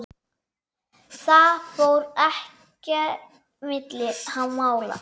Það fór ekki milli mála.